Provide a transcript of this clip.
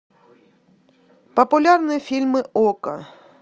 популярные фильмы окко